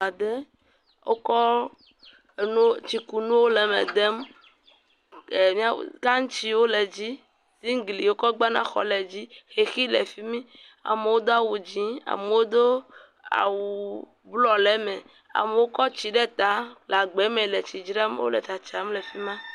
Ʋe aɖe wokɔ anuo tsikunuwo le eme dem e gantsiwo le dzi zingiwo wokɔ gbana xɔa le edzi xexi le afima amewo do awu dzĩ amewo do awu blɔ le eme amewo kɔ tsi ɖe ta le agbame le tsi dram wole dzram le tsatsam le afima